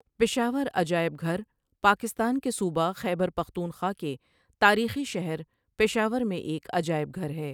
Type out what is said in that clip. پشاور عجائب گھر پاکستان کے صوبہ خیبر پختونخوا کے تاریخی شہر پشاور میں ایک عجائب گھر ہے.